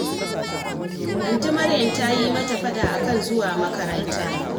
Antin Maryam ta yi mata faɗa a kan zuwa makaranta